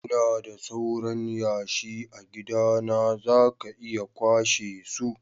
lna da sauran yashi a'gidana, za ka iya kwashe su.